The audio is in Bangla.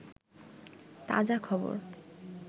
তাজা খবর